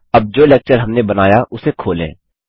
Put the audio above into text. अब जो लेक्चर हमने बनाया उसे खोलें